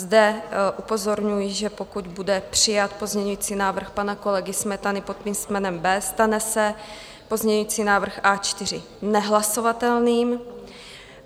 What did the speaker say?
Zde upozorňuji, že pokud bude přijat pozměňující návrh pana kolegy Smetany pod písmenem B, stane se pozměňující návrh A4 nehlasovatelným.